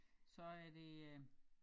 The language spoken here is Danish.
Så er det øh